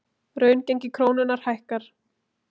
Raungengi krónunnar hækkar